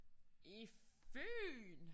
I Fyn!